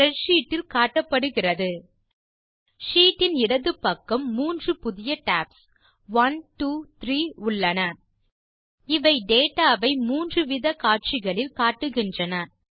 spreadsheet இல் காட்டப்படுகிறது sheet இன் இடது பக்கம் 3 புதிய டாப்ஸ் 1 2 3 உள்ளன இவை டேட்டா வை 3 வித காட்சிகளில் காட்டுகின்றன